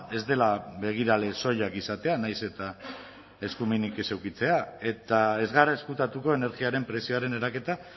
ez dela begirale soilak izatea nahiz eta eskumenik ez edukitzea eta ez gara ezkutatuko energiaren prezioaren eraketa